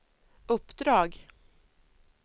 uppdrag